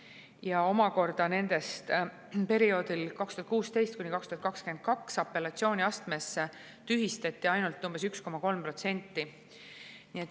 Ja omakorda nendest perioodil 2016–2022 apellatsiooniastmes tühistati ainult umbes 1,3%.